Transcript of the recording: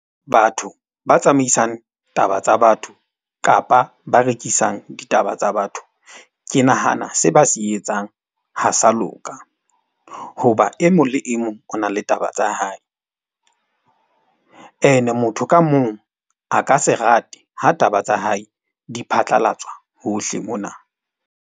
Batho ba tsamaisang taba tsa batho kapa ba rekisang ditaba tsa batho. Ke nahana se ba se etsang ha sa loka. Hoba e mong le e mong o na le taba tsa hae. Ene motho ka mong a ka se rate ha taba tsa hae di phatlalatswa hohle mona.